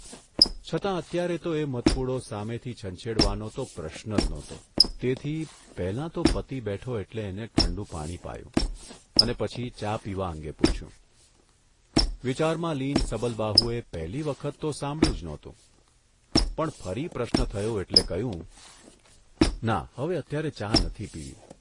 છતાં અત્યારે તો એ મધપૂડો સામેથી છંછેડવાનો તો પ્રશ્ન જ નહોતો તેથી પહેલાં તો પતિ બેઠો એટલે એને ઠંડુ પાણી પાયું અને પછી ચા પીવા અંગે પૂછ્યું, વિચારમાં લીન સબલબાહુએ પહેલી વખત તો સાંભળ્યું જ નહોતું, પણ ફરી પ્રશ્ન થયો એટલે કહ્યું, ' ના હવે અત્યારે ચા નથી પીવી.